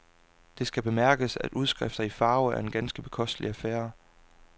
Det skal bemærkes, at udskrifter i farve er en ganske bekostelig affære.